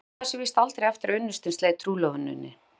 Hún jafnaði sig víst aldrei eftir að unnustinn sleit trúlofuninni.